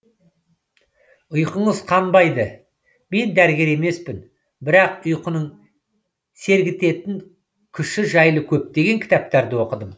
ұйқыңыз қанбайды мен дәрігер емеспін бірақ ұйқының сергітетін күші жайлы көптеген кітаптарды оқыдым